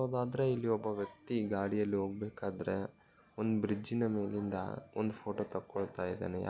ಹಾಗಾದ್ರೆಇಲ್ಲಿ ಒಬ್ಬ ವ್ಯಕ್ತಿ ಗಾಡಿ ಅಲ್ಲಿ ಹೋಗಬೇಕಾದ್ರೆ ಒಂದ್ ಬ್ರಿಡ್ಜ್ ನ ಮೇಲಿಂದ ಒಂದು ಫೋಟೋ ತೊಕ್ಕೊಳ್ತಾ ಇದಾನೆ.